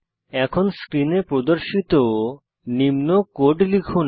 এখন স্ক্রিনে প্রদর্শিত নিম্ন কোড লিখুন